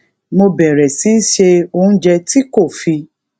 mo bèrè sí se oúnjẹ tí kò fi